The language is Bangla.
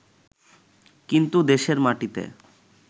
কিন্তু দেশের মাটিতে